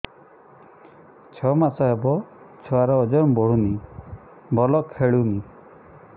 ଛଅ ମାସ ହବ ଛୁଆର ଓଜନ ବଢୁନି ଭଲ ଖେଳୁନି